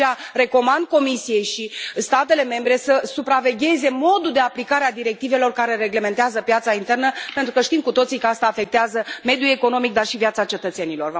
De aceea recomand Comisiei și statelor membre să supravegheze modul de aplicare a directivelor care reglementează piața internă, pentru că știm cu toții că asta afectează mediul economic, dar și viața cetățenilor.